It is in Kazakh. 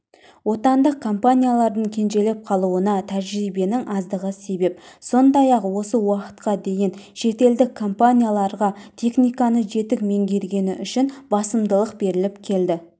отандық компаниялардың кенжелеп қалуына тәжірибенің аздығы себеп сондай-ақ осы уақытқа дейін шетелдік компанияларға технологияны жетік меңгергені үшін басымдылық беріліп келді